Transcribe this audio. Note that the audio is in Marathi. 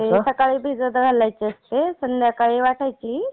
सकाळी भिजत घालायची असते. संध्याकाळी वाटायची.